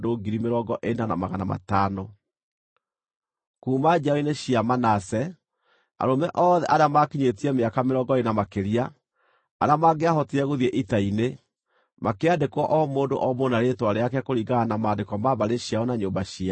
Kuuma njiaro-inĩ cia Manase: Arũme othe arĩa maakinyĩtie mĩaka mĩrongo ĩĩrĩ na makĩria, arĩa mangĩahotire gũthiĩ ita-inĩ makĩandĩkwo o mũndũ o mũndũ na rĩĩtwa rĩake kũringana na maandĩko ma mbarĩ ciao na nyũmba ciao.